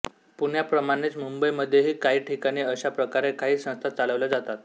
पुण्याप्रमाणेच मुंबईमध्येही काही ठिकाणी अश्या प्रकारे काही संस्था चालवल्या जातात